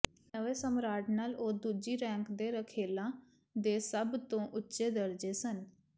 ਨਵੇਂ ਸਮਰਾਟ ਨਾਲ ਉਹ ਦੂਜੀ ਰੈਂਕ ਦੇ ਰਖੇਲਾਂ ਦੇ ਸਭ ਤੋਂ ਉੱਚੇ ਦਰਜੇ ਸਨ